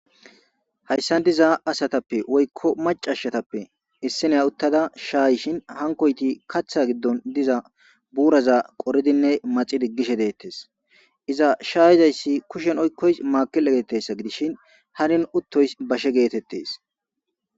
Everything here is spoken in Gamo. Hayisan diza asatape woyiko macasatape issiniy utada shayishin hanikoti katha gidon diza buraza qoridin maxi digishe detes iza shayizayis kushen oyiqoyis makile getetes gidishin karen utoyisi bashe getetes